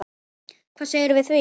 Hvað segirðu við því?